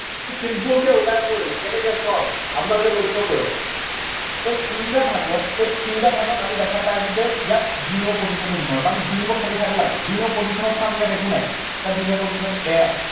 simple কে ওলাই পৰিলে, কেনেকে চাওঁক, আপোনালোকে লক্ষ্য কৰক। ইয়াত তিনটা ভাগত, এই তিনটা ভাগত আমি দেখা পাই আছো যে ইয়াত দুই number position টো বিচাৰো, কাৰণ দুই number খালী ঠাইটো লাগে। দুই number position ত চাওঁক ইয়াত একো নাই। ইয়াত দুই number position ত a আছে।